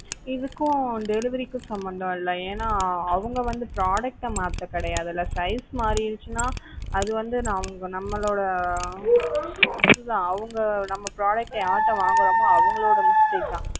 இதுக்கும் delivery க்கும் சம்பந்தம் இல்ல அவங்க வந்து product மாத்த கிடையாது size மாறிடுச்சுன்னா அது வந்து நம்மளோட அஹ் இது தான் அவங்க வந்து நம்ம product யார் கிட்ட வாங்குறோமோ அவங்களோட mistake தான்